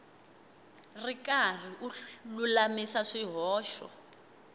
ri karhi u lulamisa swihoxo